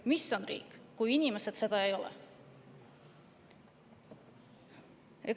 Mis on riik, kui inimesed seda ei ole?